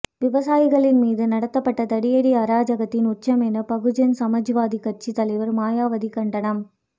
விவசாயிகளின் மீது நடத்தப்பட்ட தடியடி அராஜகத்தின் உச்சம் என பகுஜன் சமாஜ்வாதி கட்சி தலைவர் மாயாவதி கண்டனம்